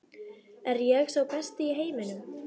Er ég sá besti í heiminum?